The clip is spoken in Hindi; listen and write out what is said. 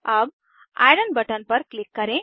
अब आयरन बटन पर क्लिक करें